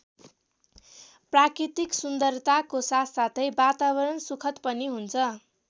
प्राकृतिक सुन्दरताको साथसाथै वातावरण सुखद पनि हुन्छ।